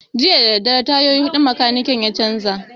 Jiya dadadare tayoyi huɗu makanikin ya canza